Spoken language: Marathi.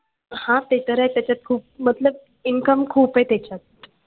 हां ते तर आहे त्याच्यात खूप मतलब income खूप आहे त्याच्यात